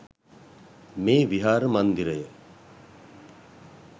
මෙ විහාර මන්දිරය